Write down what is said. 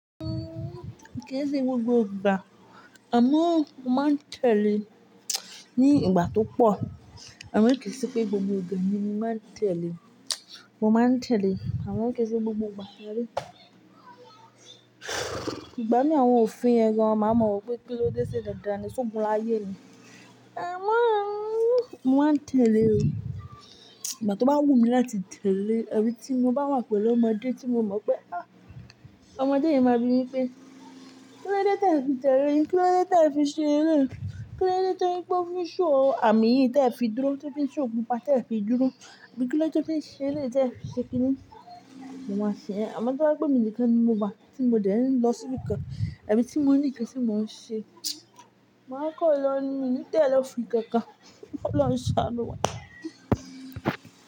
Kii se gbogbogba, amo, moma ntele n'igba to po, amo kii se pe gbogbo igba, ni maa ntele, ọma ntele amo kii se gbogbo igba jare. Igbami awon ofin yen gan maa ma wo pe, kilode se dandan, so gun laye ni Amo, mo ma ntele o, igba tọ ba wụ mi láti tele abi tí mo ba wa pelu ọmode tí mo mo pe a, ọmode ma bi mi pe. Kilọ de te fi tele, kilọ de te fi seele, kilọ de te fin show ami yii te fi duru, te fin show ọgpụpa te fi duru, abị kilọde te fi seele te fi sekini. Mụ ama se, amo tọ ba pe mi n'ikan ni wa a, tí mo de n lọsị ibikan, abi tí ni nkan ti mon se. Maa kọọla nii mo ni tele ofin kankan, kii ọloun saa nu wa.